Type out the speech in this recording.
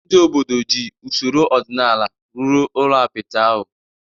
Ndị obodo ji usoro ọdịnala rụrụ ụlọ apịtị ahụ.